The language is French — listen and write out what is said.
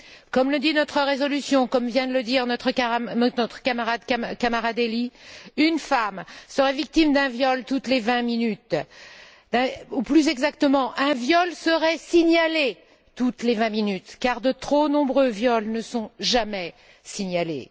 Comme le dit notre résolution, comme vient de le dire notre camarade Delli, une femme serait victime d'un viol toutes les vingt minutes ou, plus exactement, un viol serait signalé toutes les vingt minutes, car de trop nombreux viols ne sont jamais signalés.